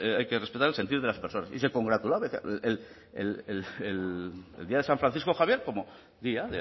hay que respetar el sentir de las personas y se congratulaba y decía el día de san francisco javier como día